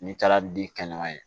N'i taara di kɛɲɔgɔn ye